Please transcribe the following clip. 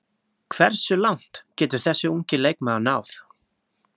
Hversu langt getur þessi ungi leikmaður náð?